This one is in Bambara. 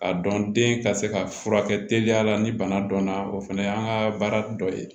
A dɔn den ka se ka furakɛ teliya la ni bana dɔnna o fana y'an ka baara dɔ ye